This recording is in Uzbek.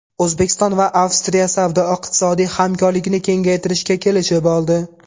O‘zbekiston va Avstriya savdo-iqtisodiy hamkorlikni kengaytirishga kelishib oldi.